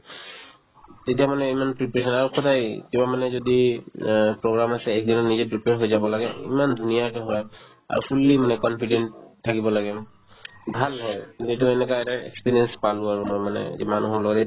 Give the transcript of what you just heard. তেতিয়া মানে ইমান preparation আৰু সদায় কিবা মানে যদি অ program আছে একদিনত নিজে prepare হৈ যাব লাগে ইমান ধুনীয়াকে হয় আৰু fully মানে confident থাকিব লাগে ভাল হয় যিটো এনেকা এটা experience পালো আৰু মই মানে যিমান হ'লেও